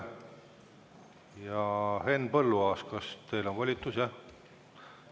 Henn Põlluaas, kas teil on volitus?